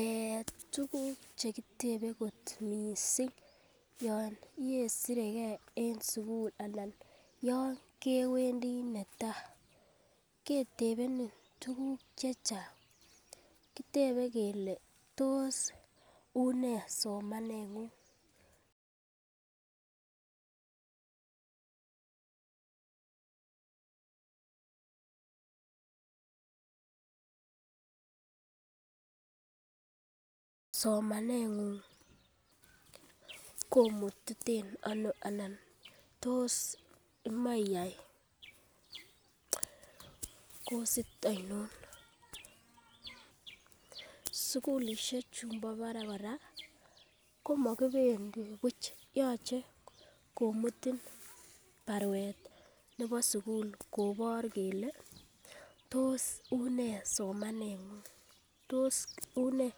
Eeh tukuk chekitebe kot missing yon ibesiregee en sukul anan yon kewendii netai ketepenin tukuk chechang kitebe kele tos unee somanengung somanengung komutiten ono anan tos imoche iyai kosir oinon. Sukulishek chumbo barak kora komokipendiii buch yoche komutin barwet nebo sukul kobor kele tos unee somenengung tos unee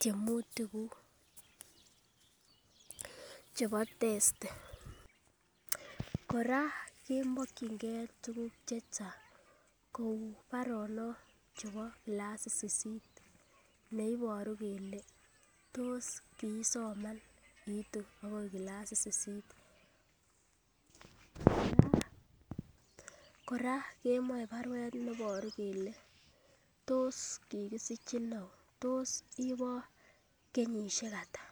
tyemutik kuku chebo testi. Koraa kemokingee tukuk chechang kou baronok chebo kilasit sisit neiboru kele tos kisoman itu akoi kilasit sisit, koraa kemoi barwek neiboru kele tos kikisichi ou tos iboo kenyoshek atak.